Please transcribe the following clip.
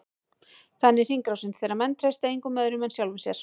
Þannig er hringrásin, þegar menn treysta engum öðrum en sjálfum sér.